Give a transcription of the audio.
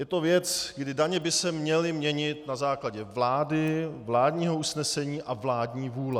Je to věc, kdy daně by se měly měnit na základě vlády, vládního usnesení a vládní vůle.